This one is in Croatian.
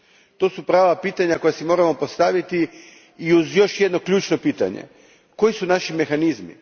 To su prava pitanja koja si moramo postaviti uz još jedno ključno pitanje koji su naši mehanizmi?